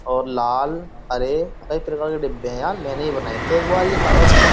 और लाल हरे कई प्रकार के डिब्बे हैं यार मैंने ही बनाये थे एक बार ये कागज के।